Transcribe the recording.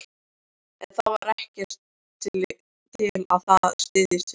En það var ekkert til að styðjast við.